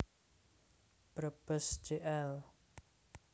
Brebes Jl